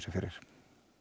fyrir